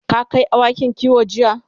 ka Kai awakin kiwo jiya?